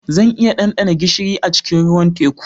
Zan iya ɗanɗana gishiri a cikin ruwan teku